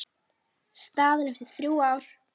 Staðan eftir þrjú ár?